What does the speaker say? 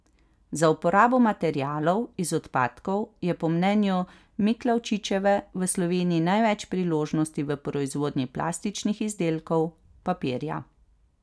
Za uporabo materialov iz odpadkov je po mnenju Miklavčičeve v Sloveniji največ priložnosti v proizvodnji plastičnih izdelkov, papirja.